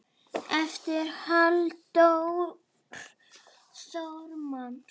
eftir Halldór Þormar